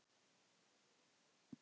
Sofðu rótt elskan.